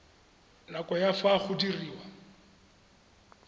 nako ya fa go diriwa